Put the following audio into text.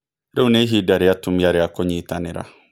Rĩu nĩ ihinda rĩa atumia rĩa kũnyitanĩra.